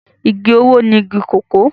Igi owó ni igi kòkó